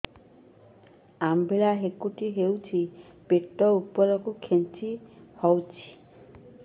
ଅମ୍ବିଳା ହେକୁଟୀ ହେଉଛି ପେଟ ଉପରକୁ ଖେଞ୍ଚି ହଉଚି